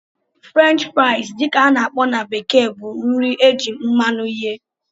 French fries dị ka a na-akpọ na bekee bụ nri eji mmanụ eghe